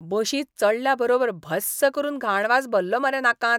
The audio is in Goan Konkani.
बशींत चडल्या बरोबर भस्स करून घाण वास भल्लो मरे नाकांत!